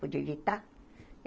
Podia evitar.